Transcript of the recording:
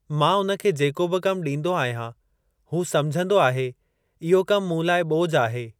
मां हुन खे जेको बि कमु ॾींदो आहियां हू समझंदो आहे इहो कमु मूं लाइ ॿोझ आहे।